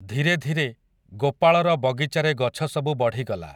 ଧୀରେ ଧୀରେ, ଗୋପାଳର ବଗିଚାରେ ଗଛସବୁ ବଢ଼ିଗଲା ।